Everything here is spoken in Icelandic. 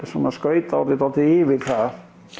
skauti nú orðið svolítið yfir það